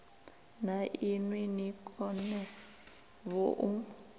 na inwi ni konevho u